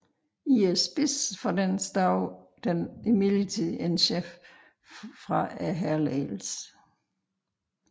I spidsen for den stod der imidlertid en chef for hærledelsen